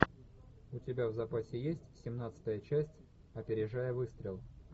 у тебя в запасе есть семнадцатая часть опережая выстрел